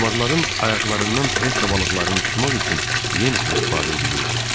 Kalmarların ayaqlarından treşka balıqlarını tutmaq üçün yem kimi istifadə eləyirdi.